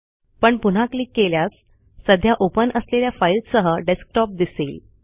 पण पुन्हा क्लिक केल्यास सध्या ओपन असलेल्या फाईल्ससह डेस्कटॉप दिसेल